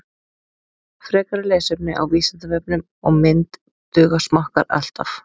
Frekara lesefni á Vísindavefnum og mynd Duga smokkar alltaf?